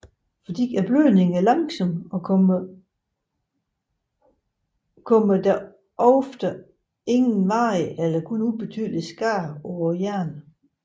Fordi blødningen er langsom kommer der ofte ingen varig eller kun ubetydelig skade på hjernen